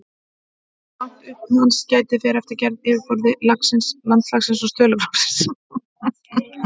Hversu langt upp hans gætir fer eftir gerð yfirborðs, landslagi og stöðugleika lofsins.